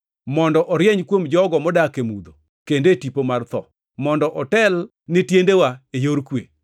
mondo orieny kuom jogo modak e mudho, kendo e tipo mar tho, mondo otel ne tiendewa e yor kwe.”